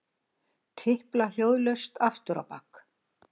Tipla hljóðlaust afturábak.